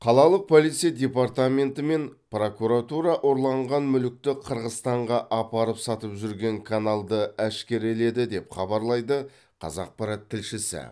қалалық полиция департаменті мен прокуратура ұрланған мүлікті қырғызстанға апарып сатып жүрген каналды әшкереледі деп хабарлайды қазақпарат тілшісі